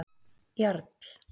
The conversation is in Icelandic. Jarl